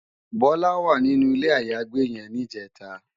Bola wá ninú ilé àyágbé yèn nijètá